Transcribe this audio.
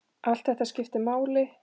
Allt þetta skiptir máli.